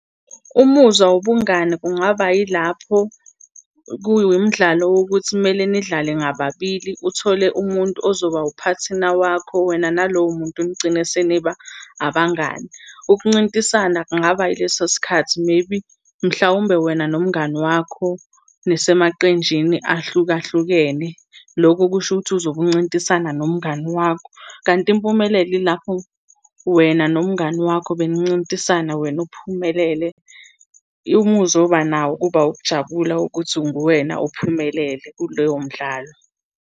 Umuzwa wobungani kungaba yilapho kuwumdlalo wokuthi kumele nidlale ngababili, uthole umuntu ozoba uphathina wakho, wena nalowo muntu nigcine seniba abangani. Ukuncintisana kungaba ileso sikhathi maybe, mhlawumbe wena nomngani wakho nisemaqenjini ahlukahlukene. Loko kusho ukuthi uzobe uncintisana nomngani wakho. Kanti impumelelo yilapho wena nomngani wakho benincintisana wena uphumelele. Umuzwa oba nawo kuba ukujabula wokuthi nguwena ophumelele kuleyo mdlalo.